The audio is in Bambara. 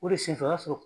O de senfɛ o y'a sɔrɔ